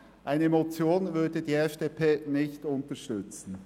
Eine Motion würde die FDP nicht unterstützen.